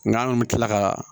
Nga an kun mi kila ka